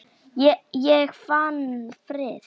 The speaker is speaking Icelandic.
Ég fann frið.